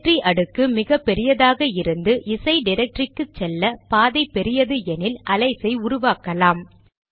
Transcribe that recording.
directory அடுக்கு மிகபெரியதாக இருந்து இசை டிரக்டரிக்கு செல்ல பாதை பெரியது எனில் அலையஸ் ஐ உருவாக்கலாம்